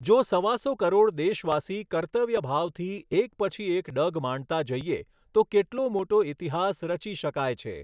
જો સવાસો કરોડ દેશવાસી કર્તવ્યભાવથી એક પછી એક ડગ માંડતા જઈએ તો કેટલો મોટો ઇતિહાસ રચી શકાય છે.